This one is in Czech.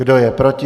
Kdo je proti?